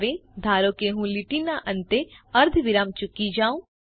હવે ધારો કે હું લીટીના અંતે અર્ધવિરામ ચૂકી જાઉં